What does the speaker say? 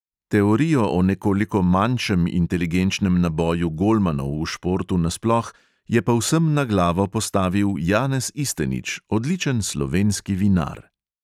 Teorijo o nekoliko manjšem inteligenčnem naboju golmanov v športu nasploh je povsem na glavo postavil janez istenič, odličen slovenski vinar.